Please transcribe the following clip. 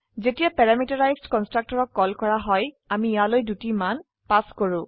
যেতিয়া প্যাৰামিটাৰাইজড কন্সট্ৰকটৰক কল কৰা হয় আমি ইয়ালৈ দুটি মান পাস কৰো